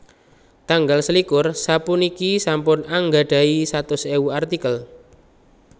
Tanggal selikur sapuniki sampun anggadhahi satus ewu artikel